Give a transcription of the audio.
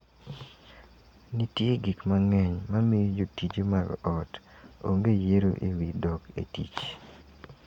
Nitie gik mang`eny mamiyo jotije mag ot onge yiero e wi dok e tich.